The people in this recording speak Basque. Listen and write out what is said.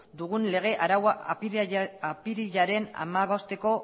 dugun lege araua apirilaren hamabosteko